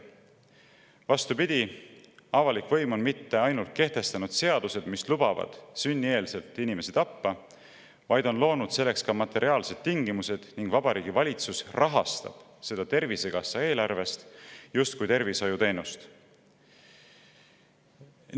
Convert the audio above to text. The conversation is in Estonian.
Vastupidi, avalik võim ei ole mitte ainult kehtestanud seadused, mis lubavad inimese sünnieelselt tappa, vaid on loonud selleks ka materiaalsed tingimused: Vabariigi Valitsus rahastab seda Tervisekassa eelarvest justkui tervishoiuteenust.